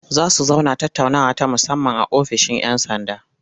Za su zauna tattaunawa ta musamman a ofishin 'yan sanda.